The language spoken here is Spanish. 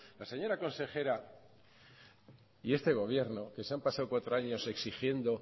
la señora consejera y este gobierno que se han pasado cuatro años exigiendo